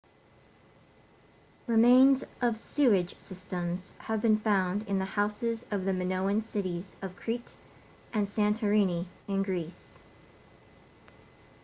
remains of sewage systems have been found in the houses of the minoan cities of crete and santorini in greece